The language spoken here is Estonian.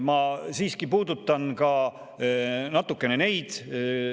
Ma siiski puudutan ka natukene neid.